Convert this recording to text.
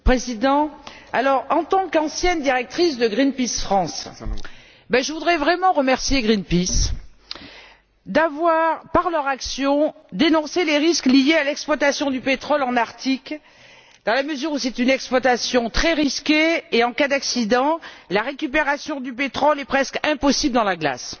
Monsieur le Président, en tant qu'ancienne directrice de Greenpeace France, je voudrais vraiment remercier Greenpeace d'avoir, par son action, dénoncé les risques liés à l'exploitation du pétrole en Arctique, dans la mesure où c'est une exploitation très risquée et où, en cas d'accident, la récupération du pétrole est presque impossible dans la glace.